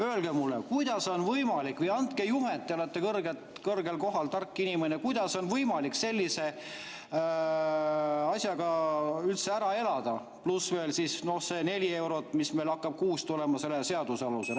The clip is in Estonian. Öelge mulle või andke juhend – te olete kõrgel kohal, tark inimene –, kuidas on võimalik sellise rahaga üldse ära elada, pluss veel see neli eurot, mis meil hakkab kuus tulema selle seaduse alusel.